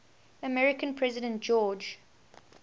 american president george